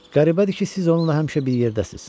Qəribədir ki, siz onunla həmişə bir yerdəsiniz.